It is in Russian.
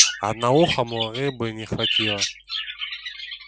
одноухому рыбы не хватило